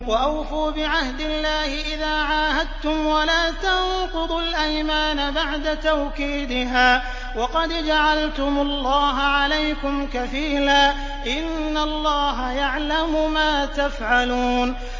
وَأَوْفُوا بِعَهْدِ اللَّهِ إِذَا عَاهَدتُّمْ وَلَا تَنقُضُوا الْأَيْمَانَ بَعْدَ تَوْكِيدِهَا وَقَدْ جَعَلْتُمُ اللَّهَ عَلَيْكُمْ كَفِيلًا ۚ إِنَّ اللَّهَ يَعْلَمُ مَا تَفْعَلُونَ